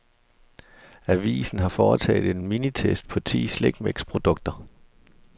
Avisen har foretaget en minitest på ti slikmixprodukter.